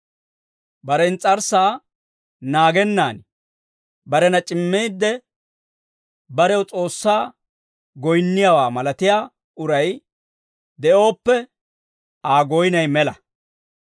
Bare ins's'arssaa naagennan barena c'immiidde, barew S'oossaa goyinniyaawaa malatiyaa uray de'ooppe, Aa goynay mela.